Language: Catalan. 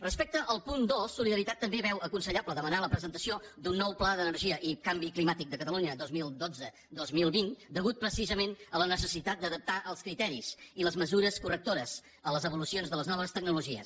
respecte al punt dos solidaritat també veu aconsellable demanar la presentació d’un nou pla d’energia i canvi climàtic de catalunya dos mil dotze dos mil vint a causa precisament de la necessitat d’adaptar els criteris i les mesures correctores en les evolucions de les noves tecnologies